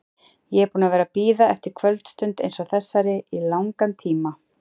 Ég er búinn að vera að bíða eftir kvöldstund eins og þessari í langan tíma.